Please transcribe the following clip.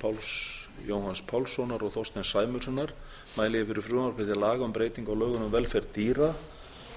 páls jóhanns pálssonar og þorsteins sæmundssonar mæli ég fyrir frumvarpi til laga um breytingu á lögum um velferð dýra